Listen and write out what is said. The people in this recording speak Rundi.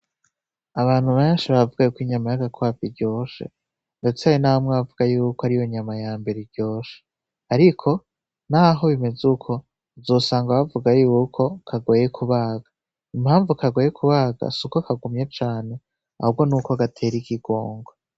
Abantu benshi baravuga kw’inyama y’agakwavu iryoshe ndetse hari na bamwe bavuga yuko ariyo nyama yambere iryoshe ariko naho bimeze uko, uzosanga bavuga yuko kagoye kubaga. Impamvu kagoye kubaga suko kagumye cane ahubwo nuko gatera ikigongwe.